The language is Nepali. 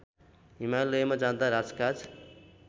हिमालयमा जाँदा राजकाज